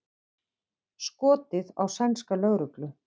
Skotið á sænska lögreglu